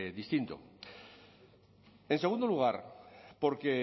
distinto en segundo lugar porque